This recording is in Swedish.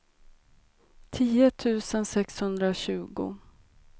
tio tusen sexhundratjugo